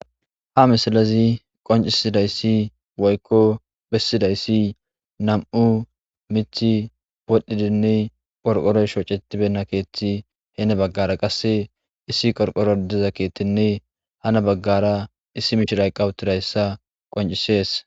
ha misalazi qoncisidayssi woykko bessidayssi nam7u mithi podhdhidinne qorqoroy shocetibena keethti heene baggara qasse issi qorqoro diza keettinne hana baggara issi mishiray qawutirayssa qoncisees